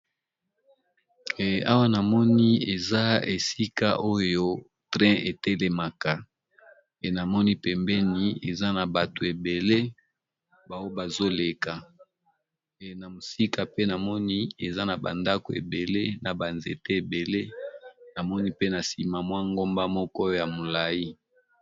Awa namoni eza esika oyo train etelemaka namoni pembeni eza na bato ebele bazozela na mosika pe namoni eza na bandako, ebele na banzete ebele namoni pe na nsima mwa ngomba moko ya molai.